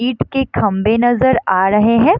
ईट के खम्बे नजर आ रहे है।